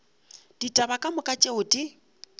ditaba ka moka tšeo di